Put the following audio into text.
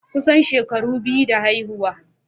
Kusan shekaru biyu da haihuwa.